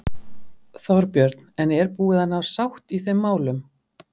Þorbjörn: En er búið að ná sátt í þeim málum?